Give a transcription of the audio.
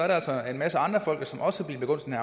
der altså en masse andre folk som også bliver begunstiget